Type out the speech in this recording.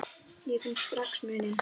Ég finn strax muninn.